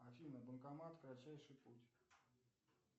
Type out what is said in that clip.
афина банкомат кратчайший путь